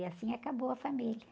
E assim acabou a família.